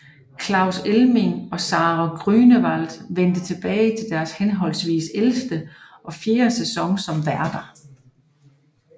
Claus Elming og Sarah Grünewald vendte tilbage til deres henholdsvis ellevte og fjerde sæson som værter